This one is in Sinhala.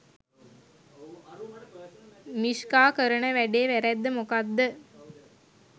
මීෂ්කා කරන වැඩේ වැරැද්ද මොකක්ද